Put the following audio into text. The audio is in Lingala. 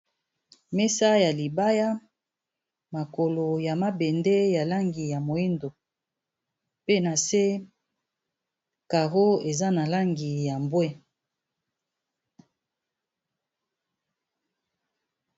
Mesa ya libaya, makolo ya mabende ya langi ya moindo. Pe na se, caro eza na langi ya mbwe.